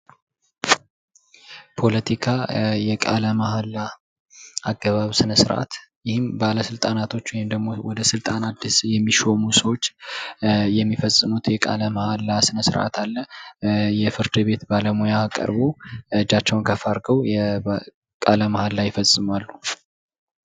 ፖለቲካ የቃለ መሃላ አገባብ ስነ ስርዓት ይህም ባለስልጣናቶች ወይም ደሞ ወደ ስልጣን አዲስ የሚሾሙ ሰዎች የሚፈጽሙት የቃለ መሃል ስነስርአት አለ። የፍርድ ቤት ባለሙያ ቀርቦ እጃቸውን ከፍ አድርገው ቃለመሀላ ይፈጽማሉ።